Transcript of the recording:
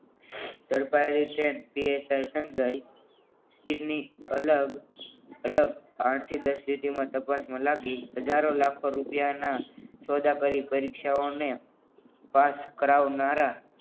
ઝડપાયેલ stand PSI Sanjay સીટની અલગ અલગ આઠથી દસ લીટીમાં તપાસમાં લાગી હજારો લાખો રૂપિયામાં સોદાગર ની પરીક્ષાઓને પાસ કરાવનારા